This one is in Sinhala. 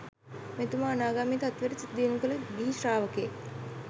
මෙතුමා අනාගාමී තත්වයට සිත දියුණු කළ ගිහි ශ්‍රාවකයෙක්.